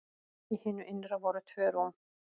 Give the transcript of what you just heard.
Í hinu innra voru tvö rúm.